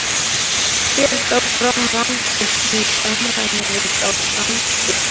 Fer þá fram rannsókn í samræmi við þá samþykkt.